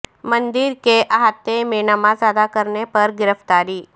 مندر کے احاطے میں نماز ادا کرنے پر گرفتاری